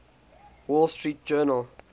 wall street journal